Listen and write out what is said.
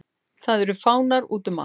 Það eru fánar útum allt.